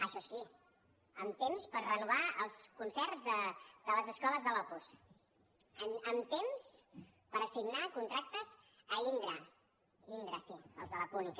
això sí amb temps per renovar els concerts de les escoles de l’opus amb temps per assignar contractes a indra indra sí els de la púnica